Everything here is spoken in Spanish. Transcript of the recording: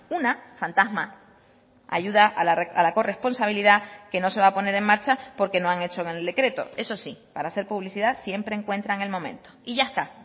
una fantasma ayuda a la corresponsabilidad que no se va a poner en marcha porque no han hecho en el decreto eso sí para hacer publicidad siempre encuentran el momento y ya está